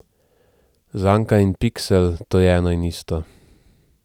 Zanka in piksel, to je eno in isto.